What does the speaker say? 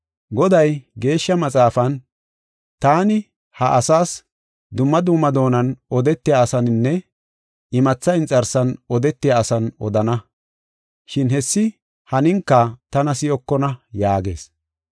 Goday, Geeshsha Maxaafan, “Taani ha asaas, dumma dumma doonan odetiya asaaninne imatha inxarsan odetiya asan odana. Shin hessi haninika tana si7okona” yaagees.